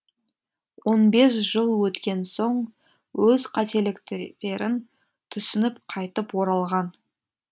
он бес жыл өткен соң өз қателіктерін түсініп қайтып оралған